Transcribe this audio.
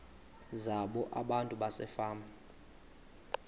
zabo abantu basefama